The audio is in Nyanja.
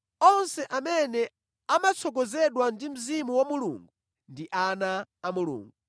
Onse amene amatsogozedwa ndi Mzimu wa Mulungu ndi ana a Mulungu.